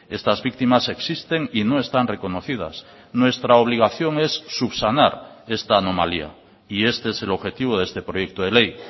estas víctimas existen y no están reconocidas nuestra obligación es subsanar esta anomalía y este es el objetivo de este proyecto de ley